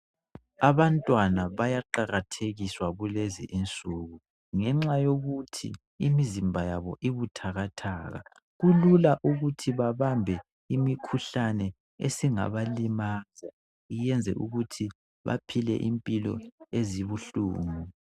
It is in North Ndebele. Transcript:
Abantwana bayaqakathekiswa kulezi insuku, ngenxa yokuthi imizimba yabo ibuthakathaka. Kulula ukuthi babambe imikhuhlane esingabalimaza iyenze ukuthi baphile impilo ezibuhlungu.